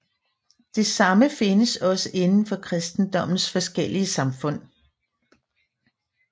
Det samme findes også inden for kristendommens forskellige samfund